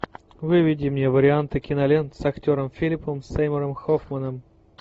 выведи мне варианты кинолент с актером филипом сеймуром хоффманом